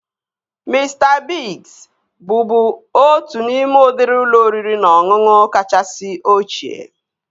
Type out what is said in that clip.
Mista Biigz bụbu otu n'ime udịri ụlọ oriri na ọṅụṅụ kachasị ochie